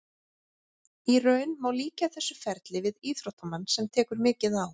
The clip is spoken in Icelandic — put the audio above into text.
Í raun má líkja þessu ferli við íþróttamann sem tekur mikið á.